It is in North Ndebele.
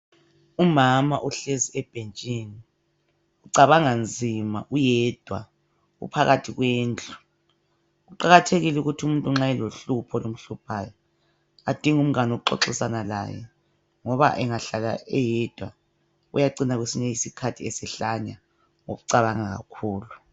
Umama uhlezi ebhentshini ucabanga nzima uyedwa uphakathi kwendlu. Kuqakathekile ukuthi umuntu nxa elohlupho olumhluphayo adinge umngane wokuxoxisana laye ngoba engahlala eyedwa uyacina kwesinye isikhathi esehlanya ngokucabanga kakhulu.